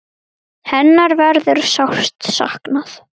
Hennar verður sárt saknað.